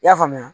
I y'a faamuya